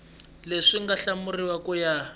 leswi nga hlawuriwa ku ya